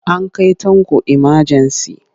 An kai Tanko imajensi.